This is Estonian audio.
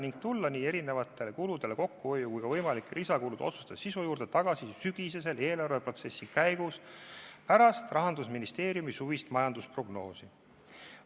Samuti otsustati eri kulude kokkuhoiu ja võimalike lisakuludega seotud otsuste juurde tagasi tulla sügisese eelarveprotsessi käigus, pärast seda kui Rahandusministeerium on esitanud suvise majandusprognoosi.